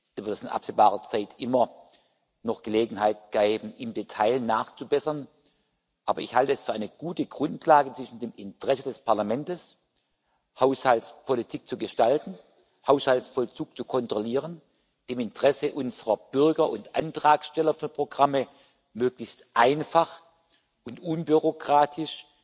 Da wird es in absehbarer Zeit immer noch Gelegenheit geben, im Detail nachzubessern. Aber ich halte es für eine gute Grundlage zwischen dem Interesse des Parlamentes, Haushaltspolitik zu gestalten, Haushaltsvollzug zu kontrollieren, dem Interesse unserer Bürger und Antragsteller für Programme, möglichst einfach und unbürokratisch